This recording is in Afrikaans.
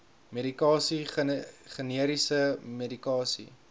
medikasie generiese medikasie